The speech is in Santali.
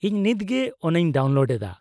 -ᱤᱧ ᱱᱤᱛ ᱜᱮ ᱚᱱᱟᱧ ᱰᱟᱣᱩᱱᱞᱳᱰ ᱮᱫᱟ ᱾